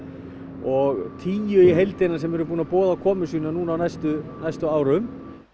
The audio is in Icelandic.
og tíu í heildina sem eru búin að boða komu sína á næstu næstu árum